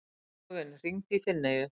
Sigurvin, hringdu í Finneyju.